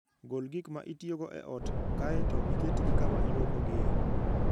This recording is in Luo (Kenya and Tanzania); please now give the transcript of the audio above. Gol gik ma itiyogo e ot kae to iketgi kama ilwokogie.